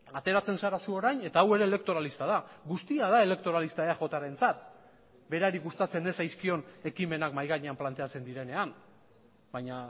ateratzen zara zu orain eta hau ere elektoralista da guztia da elektoralista eajrentzat berari gustatzen ez zaizkion ekimenak mahai gainean planteatzen direnean baina